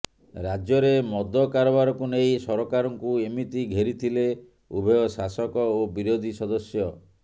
ରାଜ୍ୟରେ ମଦ କାରବାରକୁ ନେଇ ସରକାରଙ୍କୁ ଏମିତି ଘେରିଥିଲେ ଉଭୟ ଶାସକ ଓ ବିରୋଧୀ ସଦସ୍ୟ